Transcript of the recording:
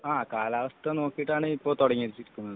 ആഹ് കാലാവസ്ഥ നോക്കിയിട്ടാണ് ഇപ്പൊ തുടങ്ങിയിട്ടുള്ളത്